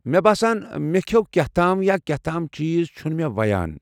مےٚ باسان مے٘ كھیوو كینٛہہ تام یا كینٛہہ تام چہز چُھنہٕ مےٚ ووٚیان۔